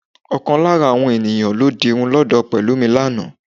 Ọkàn lára àwọn eníyán lọ dirun lọ́dọ̀ Pẹ̀lúmi lánàá